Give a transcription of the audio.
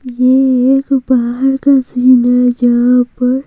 ये एक बाहर का सीन हैजहां पर--